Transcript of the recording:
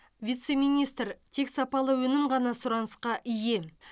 вице министр тек сапалы өнім ғана сұранысқа ие